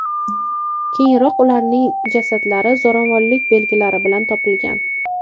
Keyinroq ularning jasadlari zo‘ravonlik belgilari bilan topilgan.